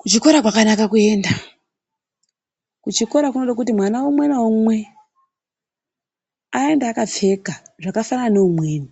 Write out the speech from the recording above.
Kuchikora kwakanaka kuenda. Kuchikora kunoda kuti mwana umwe ngaumwe aende akapfeka zvakafanana neumweni.